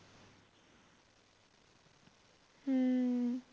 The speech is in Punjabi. ਹਮ